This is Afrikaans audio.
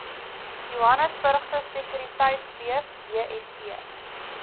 johannesburgse sekuriteitebeurs jse